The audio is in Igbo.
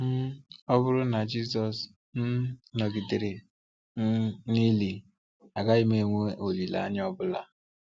um Ọ bụrụ na Jisọs um nọgidere um n’ili, agaghị m enwe olíle-anya ọbụla.